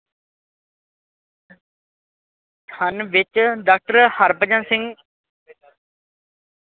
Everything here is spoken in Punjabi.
ਹਨ ਵਿੱਚ ਡਾਕਟਰ ਹਰਭਜਨ ਸਿੰਘ।